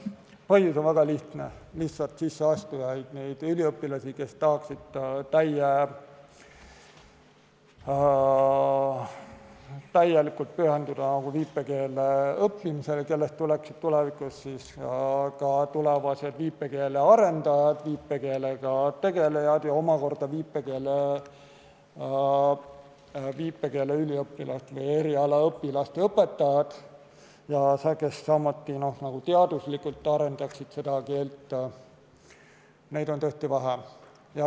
Põhjus on väga lihtne: lihtsalt sisseastujaid, neid üliõpilasi, kes tahaksid täielikult pühenduda viipekeele õppimisele, kellest tuleksid tulevikus viipekeele arendajad, viipekeelega tegelejad ja omakorda viipekeele eriala õpilaste õpetajad ja kes samuti teaduslikult arendaksid seda keelt, on tõesti vähe.